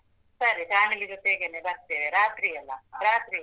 ಸರಿ, family ಜೊತೇಗೆನೆ ಬರ್ತೇವೆ ರಾತ್ರಿ ಅಲಾ? ರಾತ್ರಿ ಅಲಾ?